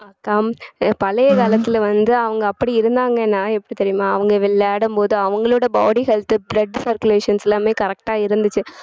பழைய காலத்துல வந்து அவங்க அப்படி இருந்தாங்கன்னா எப்படி தெரியுமா அவங்க விளையாடும் போது அவங்களோட body health உ blood circulations எல்லாமே correct ஆ இருந்துச்சு